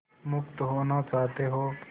मुक्त होना चाहते हो